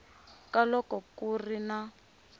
ka loko ku ri na